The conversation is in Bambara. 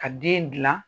Ka den gilan